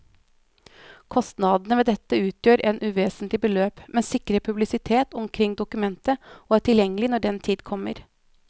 Kostnadene ved dette utgjør et uvesentlig beløp, men sikrer publisitet omkring dokumentet og er tilgjengelig når den tid kommer.